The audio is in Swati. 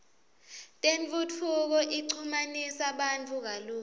tentfutfuko ichumanisa bantfu kalula